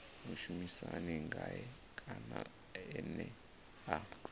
mushumisani ngae kana ene a